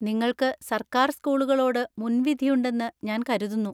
നിങ്ങൾക്ക് സർക്കാർ സ്കൂളുകളോട് മുൻവിധിയുണ്ടെന്ന് ഞാൻ കരുതുന്നു.